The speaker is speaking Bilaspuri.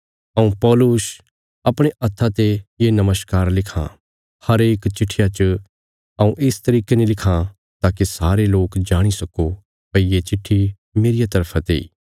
हऊँ पौलुस अपणे हत्था ते ये नमस्कार लिखां हरेक चिट्ठिया च हऊँ इस तरिके ने लिखां ताकि सारे लोक जाणी सक्को भई ये चिट्ठी मेरिया तरफा तेई